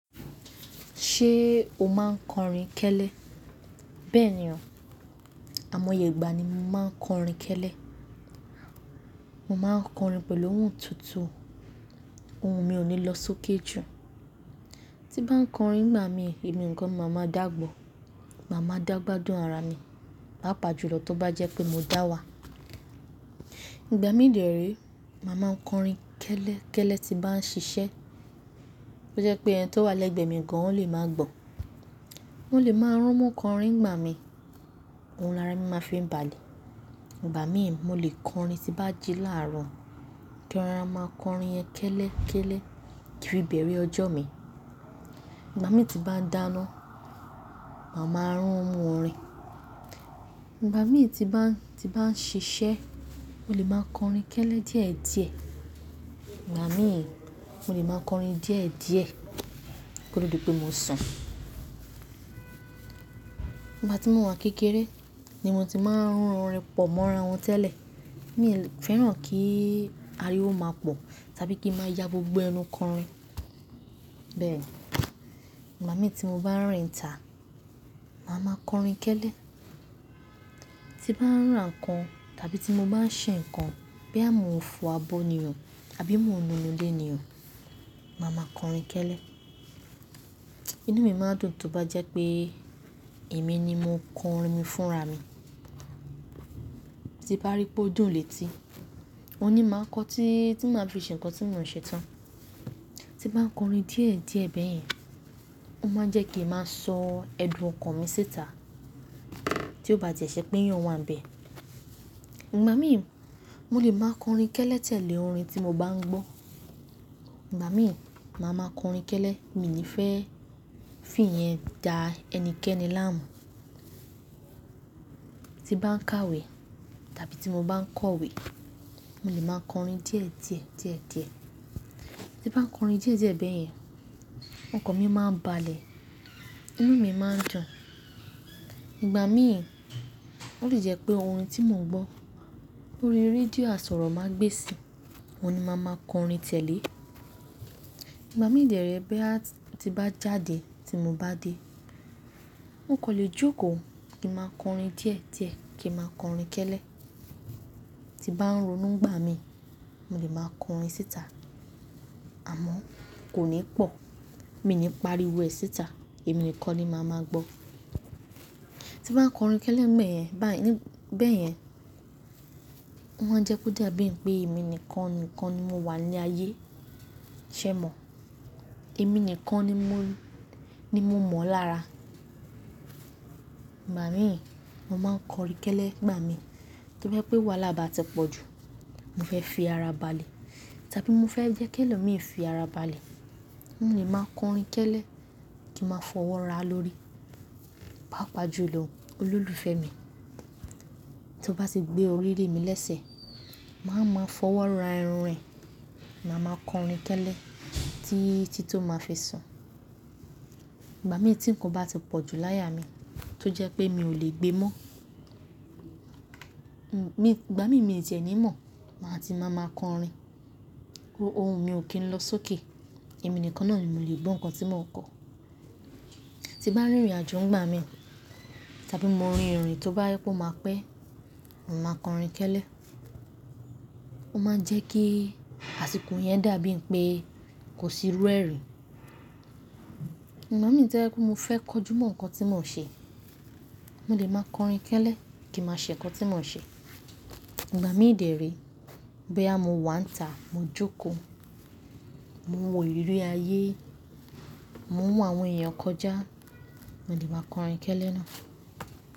Ṣé o máa ń kọrin kẹ́lẹ́? Bẹ́ẹ̀ ni o, àmọye ìgbà ni mo máa ń kọrin kẹ́lẹ́. Mo máa ń kọrin pẹ̀lú ohùn tútù, ohùn mi ò ní lọ sókè jù. Tí bá ń kọrin nígbà mi, èmi nìkan ni máa ma dàgbọ̀, màá ma dàgbà dùn ara mi, pàápàá jùlọ tó bá jẹ́ pé mo dá wà. Ìgbà mí dẹ̀ré, màá máa ń kọrin kẹ́lẹ́ kẹ́lẹ́ tí bá ń ṣiṣẹ́. Ó jẹ́ pé ẹni tó wà lẹ́gbẹ̀ẹ́ mi gan ó lè máà gbọ́, òun lè máa rán mú kọrin nígbà mi, ohùn l'ara mi máa fi balẹ̀. Ìgbà mí, mo lè kọrin tí bá jí láàárọ̀, kí ara máa kọrin yẹn kẹ́lẹ́ kẹ́lẹ́ tìbí bẹ̀rẹ̀ ọjọ́ mi. Ìgbà mi tí bá dáná, màá ma rún mú orin. Ìgbà mi ti bá, ti bá ń ṣiṣẹ́, mo lè máa kọrin kẹ́lẹ́ díẹ̀ díẹ̀. Ìgbà mi, mo lè máa kọrin díẹ̀ díẹ̀, kí ó tó di pé mo sùn. Ìgbà tí mo wà kékeré ni mo ti máa ń rún orin pọ̀ mọ́ ara wọn tẹ́lẹ̀. Mi ò fẹ́ràn kí ariwo máa pọ̀ tàbí kí í máa ya gbogbo ẹnu kọrin. Bẹ́ẹ̀, ìgbà mi tí mo bá ń rìn tà, màá máa kọrin kẹ́lẹ́. Tí bá ń ràn ǹkan tàbí tí mo bá ń ṣe nǹkan, bóyá mò ń fọ abọ́ ni o àbí mò ń nu ilé ni o, màá máa kọrin kẹ́lẹ́. Inú mi máa dùn tó bá jẹ́ pé èmi ni mo kọ orin mi fúnra mi. Tí bá rí pé ó dùn létí, òhun ni máa kọ tí, tí màá fi ṣe nǹkan tí mò ń ṣe tán. Tí bá ń kọrin díẹ̀ díẹ̀ bẹ́ẹ̀ yẹn, ó máa jẹ́ kí màá sọ ẹ̀dùn ọkàn mi síta tí ó bá ti ṣe pé èyàn wà níbẹ̀. Ìgbà mí, mo lè máa kọrin kẹ́lẹ́ tẹ̀lé orin tí mo bá ń gbọ́. Ìgbà mí, màá máa kọrin kẹ́lẹ́, mi ò ní fẹ́ fí yen da ẹni kẹ́ẹ́ni láàmú. Tí bá ń kàwé tàbí tí mo bá ń kọ̀wé, mo lè máa kọrin díẹ̀ díẹ̀, díẹ̀ díẹ̀. Tí bá ń kọrin díẹ̀ díẹ̀ bẹ́ẹ̀ yẹn, ọkàn mi máa balẹ̀, inú mi máa dùn. Ìgbà mí, ó lè jẹ́ pé orin tí mò ń gbọ́ lórí rédíò àsọ̀rọ̀ máa gbèsì, òhun ni máa máa kọrin tẹ̀lé. Ìgbà mí dèré bá ti bá jáde tí mo bá dé, wọn kò lè jókòó kí màá kọrin díẹ̀ díẹ̀ kí màá kọrin kẹ́lẹ́. Tí bá ń ronú ìgbà mi, mo lè máa kọrin síta àmọ́ kò ní pọ̀, mi ò ní pariwo ẹ síta, èmi nìkan ni màá máa gbọ́. Tí bá ń kọrin kẹ́lẹ́ bẹ́ẹ̀ yẹn, bẹ́ẹ̀ yẹn, ó máa ń jẹ́ kó dàbí pé èmi nìkan nìkan ni mo wà ní ayé, ṣé è mọ̀? Èmi nìkan ni mo, ni mo mọ lára. Ìgbà mí, mo máa ń kọrin kẹ́lẹ́ ìgbà mi kí ó jẹ́ pé wàhálà bá ti pọ̀ jù, mo fẹ́ fi ara balẹ̀ tàbí mo fẹ́ jẹ́ kí ẹlòmíràn fi ara balẹ̀, mo lè máa kọrin kẹ́lẹ́ kí màá fọwọ́ ra lórí, pàápàá jùlọ Olólùfẹ́ mi. Tí ó bá ti gbé orí rẹ mì lẹ́sẹ̀, màá máa fọwọ́ ra irun rẹ̀, màá máa kọrin kẹ́lẹ́ tí, tí tó máa fi sùn. Ìgbà mí tí nǹkan bá ti pọ̀ jù láyà mi tí ó jẹ́ pé mi ò lè gbe mọ́, Ìgbà mí, mi ò ti ẹ̀ ní mọ̀, màá ti máa máa kọrin, ohun mi ò kí ń lọ sókè, èmi nìkan náà ni mo lè gbọ́ nǹkan tí mò ń kọ. Tí bá rìn ìrìnàjò ńgbà mí tàbí mo rin ìrìn tí ó bá yẹ kó máa pẹ́, mo máa kọrin kẹ́lẹ́. Ó máa ń jẹ́ kí àsìkò yẹn dàbí pé kò sí rú ẹ̀ rí. Ìgbà mí tí ó bá jẹ́ pé, mo fẹ́ kọjú mọ́ nǹkan tí mò ń ṣe, mo lè máa kọrin kẹ́lẹ́ kí màá ṣe nǹkan tí mò ń ṣe. Ìgbà mí dèré bóyá mo wà tàá, mo jókòó, mo wò ìrírí ayé, mò ń wo àwọn èèyàn kọjá, mo lè máa kọrin kẹ́lẹ́ náà.